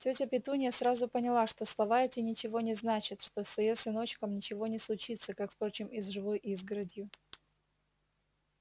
тётя петунья сразу поняла что слова эти ничего не значат что с её сыночком ничего не случится как впрочем и с живой изгородью